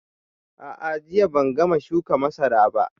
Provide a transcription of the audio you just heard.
A'a, jiya ban gama shuka masarar ba